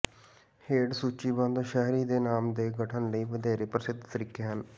ਹੇਠ ਸੂਚੀਬੱਧ ਸ਼ਹਿਰੀ ਦੇ ਨਾਮ ਦੇ ਗਠਨ ਲਈ ਵਧੇਰੇ ਪ੍ਰਸਿੱਧ ਤਰੀਕੇ ਹਨ